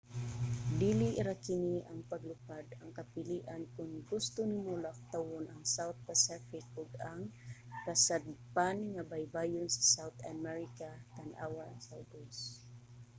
dili ra kini ang paglupad ang kapilian kon gusto nimo laktawan ang south pacific ug ang kasadpan nga baybayon sa south america. tan-awa sa ubos